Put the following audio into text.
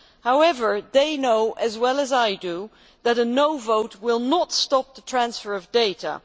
However, they know as well as I do that a no' vote will not stop the transfer of data.